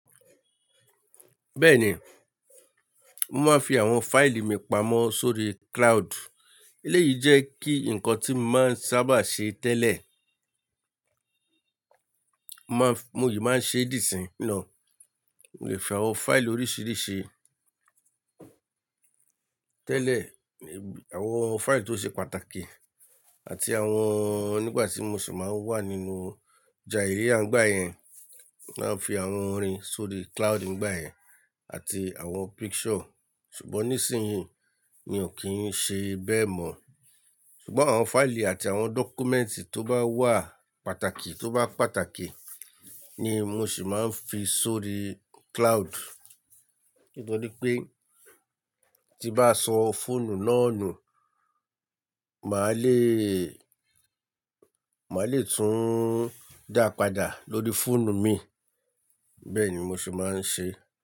Bẹ́ẹ̀ni, mo máa ń fi àwọn fáìlì mi pamọ́ sórí cloud. Eléyìí jẹ́ kí ǹkan tí mo máa ń sábà ṣe tẹ́lẹ̀. Mo máa ń-- mo yìí máa ń ṣe dí sìn náà. Mo lè fi àwọn fáìlì oríṣìíríṣìí tẹ́lẹ̀, àwọn fáìlì tó ṣe pàtàkì àti àwọn nígbà tí mo sì máa ń wà nínú jàiriya ńgbà yẹn, màá ń fi àwọn orin sórí cloud nígbà yẹn àti àwọn picture. Ṣùgbọ́n nísìnyín, mi ò kí ń ṣe bẹ́ẹ̀ mọ́. Ṣùgbọ́n àwọn fáìlì àti àwọn dọ́kúmẹ́ǹtì tó bá wà pàtàkì tó bá pàtàkì ni mo sì máa ń fi sórí cloud. Nítorí pé tí bá sọ fóònù náà nù, màá le, màá le tún dà padà lórí fóònù mi. Bẹ́ẹ̀ ni mo sì máa ń ṣe.